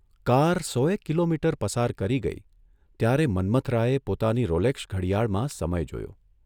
Car સોએક kilometre પસાર કરી ગઇ ત્યારે મન્મથરાયે પોતાની રોલેક્ષ ઘડિયાળમાં સમય જોયો.